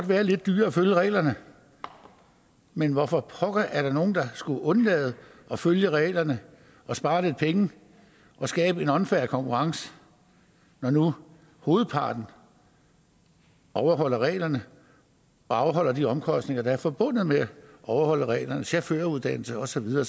være lidt dyrere at følge reglerne men hvorfor pokker er der nogle der skulle undlade at følge reglerne og spare lidt penge og skabe en unfair konkurrence når nu hovedparten overholder reglerne og afholder de omkostninger der er forbundet med at overholde reglerne chaufføruddannelse og så videre